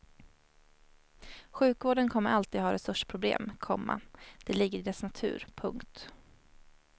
Sjukvården kommer alltid att ha resursproblem, komma det ligger i dess natur. punkt